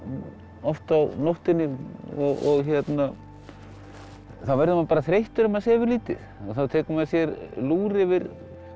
oft á nóttunni og þá verður maður bara þreyttur ef maður sefur lítið þá tekur maður sér lúr yfir